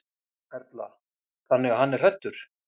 Erla: Þannig að hann er hræddur?